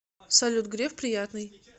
салют греф приятный